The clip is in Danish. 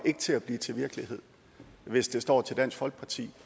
til at blive til virkelighed hvis det står til dansk folkeparti